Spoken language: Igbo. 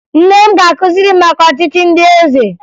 Nne m ga-akụziri m maka ọchịchị ndị eze